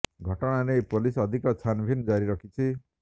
ଘଟଣା ନେଇ ପୋଲିସ ଅଧିକ ଛାନ୍ ଭିନ୍ ଜାରି ରଖିଛି